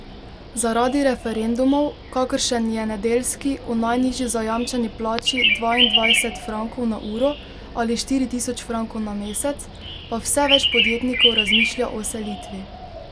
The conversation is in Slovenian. Zaradi referendumov, kakršen je nedeljski o najnižji zajamčeni plači dvaindvajset frankov na uro ali štiri tisoč frankov na mesec, pa vse več podjetnikov razmišlja o selitvi.